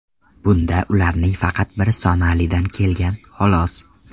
Bunda ularning faqat biri Somalidan kelgan, xolos.